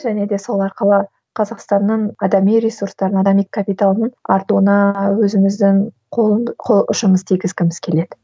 және де сол арқылы қазақстанның адами ресурстарын адами капиталын артыруына өзіміздің қол қол ұшымыз тигізгіміз келеді